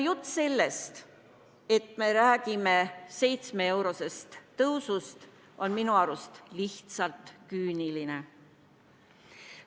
Jutt sellest, et me räägime seitsmeeurosest tõusust, on minu arust lihtsalt küüniline.